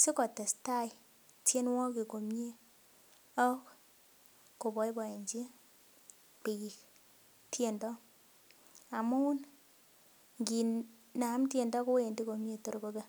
sikotestai tienwogik komie ak koboiboenji biik tiendo amun nginam tiendo kowendii komie tor kobek